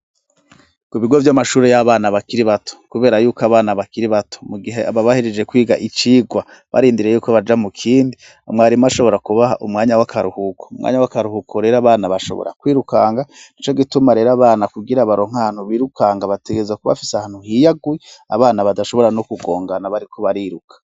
Ku bigo vy'amashuri y'abana bakiri bato, kubera yuko abana bakiri bato mu gihe baba bahereje kwiga icigwa barindiriye yuko baja mu kindi, umwarimu ashobora kubaha umwanya w'akaruhuko. Umwanya w'akaruhuko rero abana bashobora kwirukanga, nico gituma rero abana kugira baronke ahantu birukanga bategezwa kuba bafise ahantu hiyaguye abana badashobora no kugongana bariko bariruka.